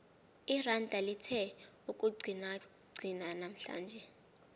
iranda lithe ukuqinaqina namhlanje